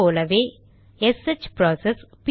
அதே போல SH process